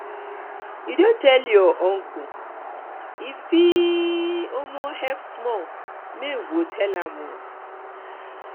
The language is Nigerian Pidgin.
you don tell your um uncle e fit um help small make we go tell am am